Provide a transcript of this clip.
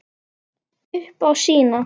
Upp á sína.